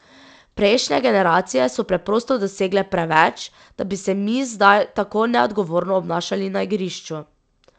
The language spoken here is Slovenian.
Prejšnje generacije so preprosto dosegle preveč, da bi se mi zdaj tako neodgovorno obnašali na igrišču.